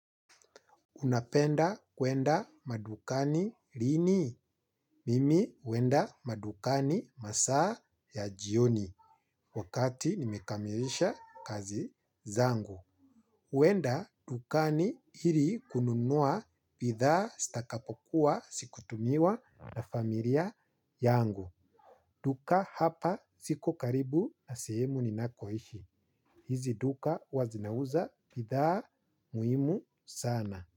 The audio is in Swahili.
Unapenda kuenda madukani lini. Mimi uenda madukani masaa ya jioni. Wakati nimekamilisha kazi zangu. Uenda dukani ili kununua bidhaa zitakapokuwa zikitumiwa na familia yangu. Duka hapa ziko karibu na sehemu ninakoishi. Hizi duka huwa zinauza bidhaa muhimu sana.